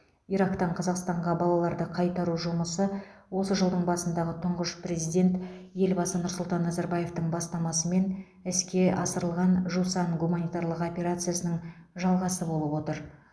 ирактан қазақстанға балаларды қайтару жұмысы осы жылдың басындағы тұңғыш президент елбасы нұрсұлтан назарбаевтың бастамасымен іске асырылған жусан гуманитарлық операциясының жалғасы болып отыр